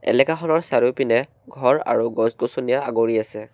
এলেকাখনৰ চাৰিওপিনে ঘৰ আৰু গছ-গছনিয়ে আগুৰি আছে।